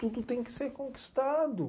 Tudo tem que ser conquistado.